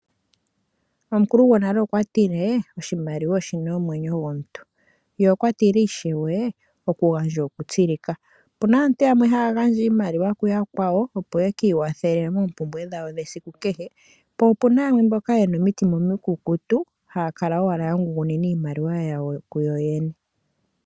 Omukulugonale okwatilee, oshimaliwa oshina omwenyo gomuntu, ye okwatile ishewe okugandja okutsilika. Opuna aantu yamwe haya gandja iimaliwa kuyakwa wo opo ye kiiwathele moompumbwe dhayo dhesiku kehe, po opuna mboka yena omitima omikukutu haya kala owala yangungunina iimaliwa yawo kuyoyene.